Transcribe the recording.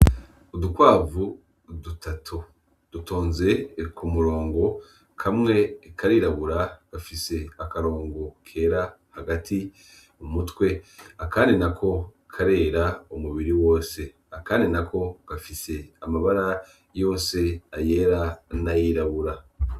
Udukwavu dutatu dutonze ku murongo: kamwe karirabura gafise akarongo kera hagati mu mutwe, akandi nako karera umubiri wose , akandi nako gafise amabara yose ayera n'ayirabura.